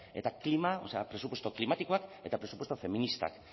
eta presupuesto klimatikoak eta presupuesto feministak